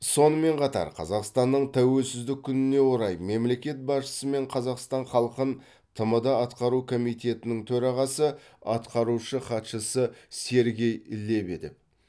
сонымен қатар қазақстанның тәуелсіздік күніне орай мемлекет басшысы мен қазақстан халқын тмд атқару комитетінің төрағасы атқарушы хатшысы сергей лебедев